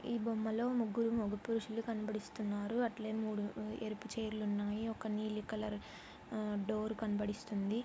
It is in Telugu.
ఈ బొమ్మలో ముగ్గురు మగ పురుషులు కనబడిస్తున్నారు. అట్లే మూడు ఎరుపు చైర్ లు ఉన్నాయి. ఒక నీలి కలర్ ఆ డోర్ కనబడిస్తుంది.